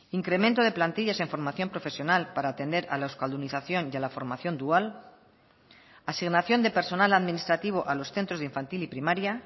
incremento de plantillas en formación profesional para atender a la euskaldunización y a la formación dual asignación de personal administrativo a los centros de infantil y primaria